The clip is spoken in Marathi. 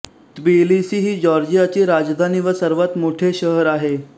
त्बिलिसी ही जॉर्जियाची राजधानी व सर्वात मोठे शहर आहे